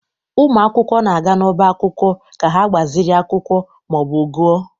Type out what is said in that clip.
Ụmụ akwụkwọ na-aga n'ọbá akwụkwọ ka ha gbaziri akwụkwọ ma ọ bụ gụọ.